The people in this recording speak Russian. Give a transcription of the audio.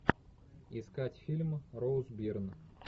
искать фильм роуз бирн